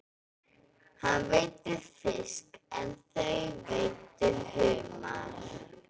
Hann veiddi fisk en þau veiddu humar.